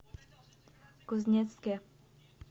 кузнецке